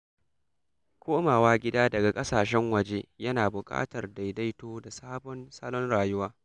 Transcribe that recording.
Komawa gida daga ƙasashen waje yana buƙatar daidaito da sabon salon rayuwa.